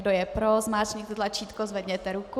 Kdo je pro, zmáčkněte tlačítko, zvedněte ruku.